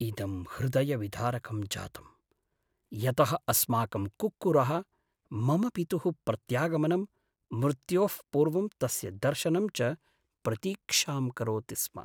इदं हृदयविदारकं जातम्, यतः अस्माकं कुक्कुरः मम पितुः प्रत्यागमनं, मृत्योः पूर्वं तस्य दर्शनं च प्रतीक्षां करोति स्म।